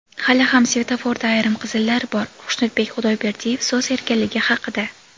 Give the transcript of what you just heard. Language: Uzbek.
Hali ham svetoforda ayrim qizillar bor – Xushnudbek Xudoyberdiyev so‘z erkinligi haqida.